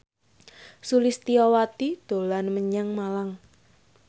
Sulistyowati dolan menyang Malang